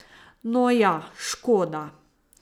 No ja, škoda.